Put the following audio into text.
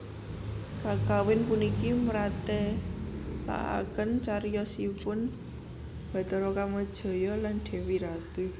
Kakawin puniki mratélakaken cariyosipun Bathara Kamajaya lan Dèwi Ratih